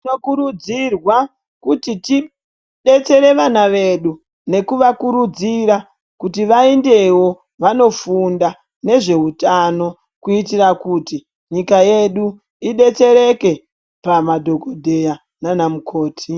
Tinokurudzirwa kuti tidetsere vana vedu nekuvakurudzira kuti vaendewo vanofunda nezveutano kuitira kuti nyika yedu ibetsereke pamadhokodheya nanamukoti.